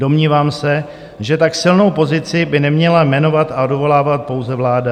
Domnívám se, že tak silnou pozici by neměla jmenovat a odvolávat pouze vláda.